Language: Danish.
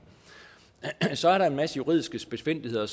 så er der en masse juridiske spidsfindigheder